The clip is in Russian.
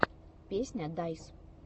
песня дайс